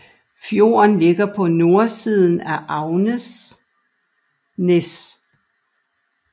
Fjorden ligger på nordsiden af Angsnes